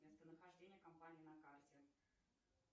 местонахождение компании на карте